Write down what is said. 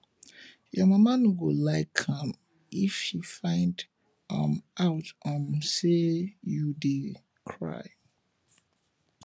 your mama no go like am if she find um out um say you dey cry